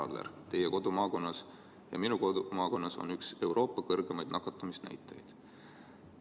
Jah, härra Aller, teie ja minu kodumaakonnas on üks Euroopa kõrgemaid nakatumisnäitajaid.